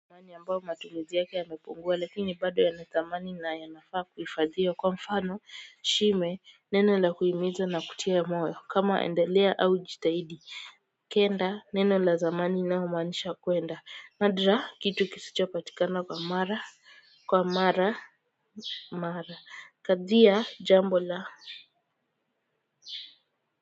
Mwani ambao matumizi yake yamepungua lakini bado yana thamani na yanafaa kuhifadhiwa kwa mfano shime neno la kuhimiza na kutia moyo kama endelea au jitahidi kenda neno la zamani linalomaanisha kuenda nadra kitu kisichopatikana kwa mara kwa mara mara kadhaa jambo la.